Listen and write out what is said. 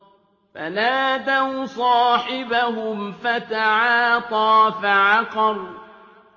فَنَادَوْا صَاحِبَهُمْ فَتَعَاطَىٰ فَعَقَرَ